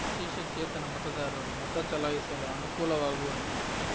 ವಿಶೇಷ ಚೇತನ ಮತದಾರರು ಮತ ಚಲಾಯಿಸಲು ಅನುಕೂಲವಾಗುವಂತೆ